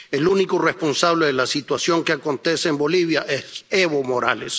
El único responsable de la situación que acontece en Bolivia es Evo Morales.